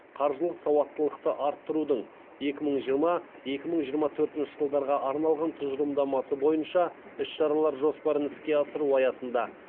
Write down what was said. қаржылық сауаттылықты арттырудың екі мың жиырма екі мың жиырма төртінші жылдарға арналған тұжырымдамасы бойынша іс шаралар жоспарын іске асыру аясында